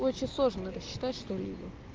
очень сложно рассчитать что либо